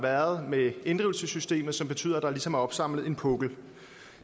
været med inddrivelsessystemet som betyder at der ligesom er opsamlet en pukkel